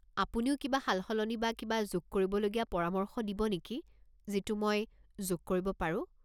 আপুনিও কিবা সালসলনি বা কিবা যোগ কৰিবলগীয়াৰ পৰামৰ্শ দিব নেকি যিটো মই যোগ কৰিব পাৰো?